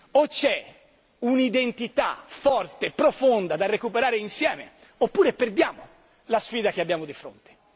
O c'è un'identità forte, profonda da recuperare insieme oppure perdiamo la sfida che abbiamo di fronte.